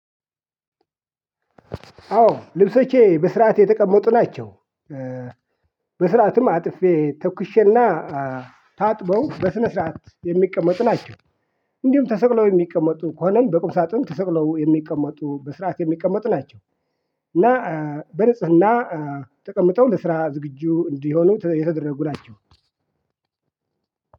አዎ ልብሶቼ በስርዓት የተቀመጡ ናቸው። በስርዓትም አጥፌ ተኩሼና ታጥበው በስነ ስርዓት የሚቀመጡ ናቸው። እንዲሁም ተሰቅለው የሚቀመጡ ከሆነም በቁም ሳጥን ተሰቅለው የሚቀመጡ በስርዓት የሚቀመጡ ናቸው። እና በንጽህና ተቀምጠው ለስራ ዝግጁ እንዲሆኑ የተደረጉ ናቸው።